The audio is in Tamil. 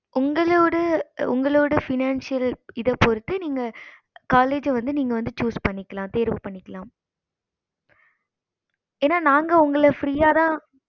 உங்களோட உங்களோட financial இத பொறுத்து நீங்க college வந்து நீங்க வந்து இது பண்ணிக்கலாம் தேர்வு பண்ணிக்கலாம் ஏன நாங்க உங்கள free ஆஹ் தான்